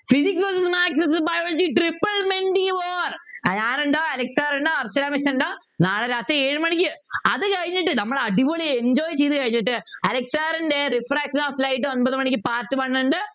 Physics maths biology War ഞാൻ ഉണ്ടാവും Alex sir ഉണ്ടാവും അർച്ചന miss ഉണ്ടാവും നാളെ രാത്രി ഏഴു മണിക്ക് അതുകഴിഞ്ഞിട്ട് നമ്മൾ അടിപൊളി Enjoy ചെയ്തു കഴിഞ്ഞിട്ട് അലക്സ് sir ൻ്റെ Reflection of light ഒമ്പത് മണിക്ക് Part one ഉണ്ട്